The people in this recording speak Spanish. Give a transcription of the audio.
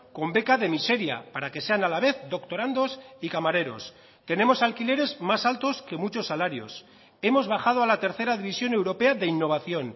con beca de miseria para que sean a la vez doctorandos y camareros tenemos alquileres más altos que muchos salarios hemos bajado a la tercera división europea de innovación